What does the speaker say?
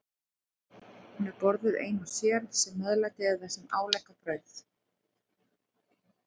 Hún er borðuð ein og sér, sem meðlæti eða sem álegg á brauð.